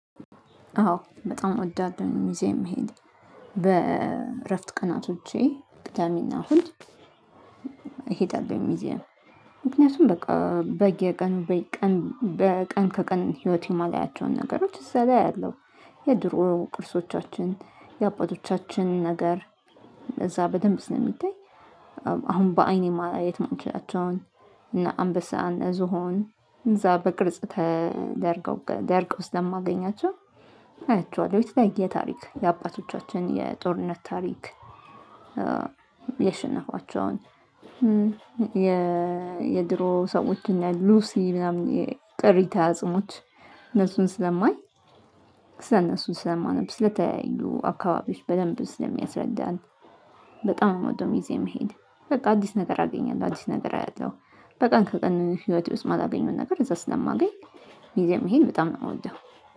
አዎ በጣም እወዳለሁኝ ሙዚየም መሄድ በእረፍት ቀናቶቼ ቅዳሜና እሁድእሄዳለሁ። ሙዚየም ምክንያቱም በቃ በየቀኑ በቀን ከቀን ህይወቴ የማላያቸውን ነገሮች እዛ ላይ አያለው። የድሮ ቅርሶቻችን የአባቶቻችን ነገር እዛ በደንብ ስለሚታይ አሁን በአይኔ ማየት የማልችላቸውን እነ አምበሳ እነ ዝሆን እዛ በቅርጽ ተደርገው ደርቀው ለማገኛቸው። የተለያየ ታሪክ የአባቶቻችን የጦርነት ታሪክ። ያሽነፋቸውን አሁን የድሮ ሰዎች እና ሉሲ ምናምን የቅሬተ አጽሞች እነሱን ስለማይ ስለእነሱ ስለማነብ ስለተለያዩ አካባቢዎች በደንብ ስለሚያስረዳን። በጣም ነው የመውደው ሙዚየም መሄድ በቃ አዲስ ነገር አገኛለሁ አዲስ ነገር አያለሁ። በቀን ከቀን ህይወቴ ውስጥ የማላገኘውን ነገር እዛ ስለማገኝ ሙዚየም መሄድ በጣም ነው የምወደው